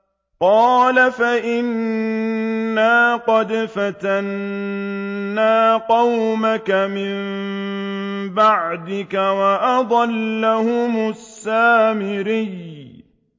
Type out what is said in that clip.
قَالَ فَإِنَّا قَدْ فَتَنَّا قَوْمَكَ مِن بَعْدِكَ وَأَضَلَّهُمُ السَّامِرِيُّ